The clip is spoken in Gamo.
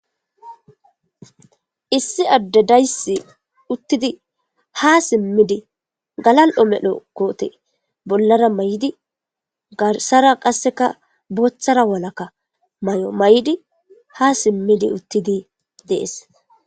issi addedaysi uttidi ha simmidi galal7o medho koote bollara may7di garsara qasseka booththara walakka may7o may7di ha simmidi uttidi dees